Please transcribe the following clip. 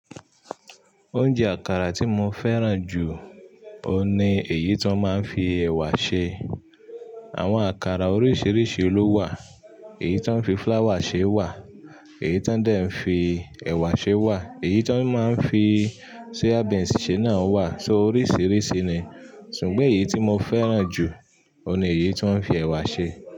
Oúnjẹ àkàrà tí mo fẹ́ràn jù, òun ni èyí tó máa ń fi ẹ̀wà ṣe. Àwọn àkàrà oríṣiríṣi ló wà. Èyí tó ń fi flour ṣe wà, èyí tó ń dè ń fi ẹ̀wà ṣe wà, èyí tó máa ń fi soya beans ṣe náà wà, so oríṣiríṣi ni. Sùgbón èyí tí mo fẹ́ràn jù, òun ni èyí ti wọn fi ẹ̀wà ṣe.